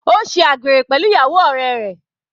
Ó ṣe àgbèrè pẹ̀lú ìyàwó ọ̀rẹ́ rẹ̀.